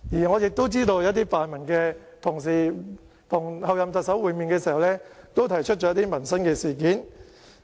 我知道一些泛民同事跟候任特首會面的時候，也提出了一些民生事項。